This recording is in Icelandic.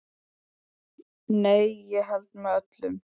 Nei, ég held með öllum.